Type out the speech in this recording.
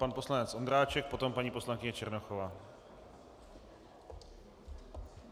Pan poslanec Ondráček, potom paní poslankyně Černochová.